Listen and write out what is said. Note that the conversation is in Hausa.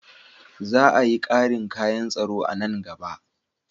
Za a yi ƙarin kayan tsaro a nan gaba.